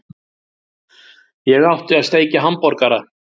Ég átti að steikja hamborgara!